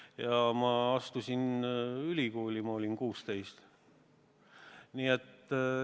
Ja ma astusin ülikooli, kui ma olin 16.